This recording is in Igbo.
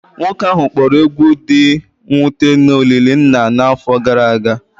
Nwoke ahụ kpọrọ egwu dị mwute na olili nna n'afọ gara aga